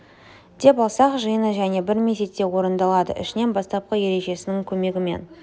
деп алсақ жиыны және бір мезетте орындалады ішінен бастапқы ережесінің көмегімен